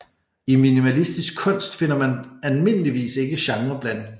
I minimalistisk kunst finder man almindeligvis ikke genreblanding